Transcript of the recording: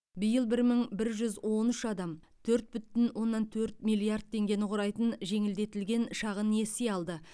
биыл бір мың біп жүз он үш адам төрт бүтін оннан төрт миллиард теңгені құрайтын жеңілдетілген шағын несие алды